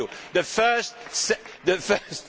budgets. Thank you,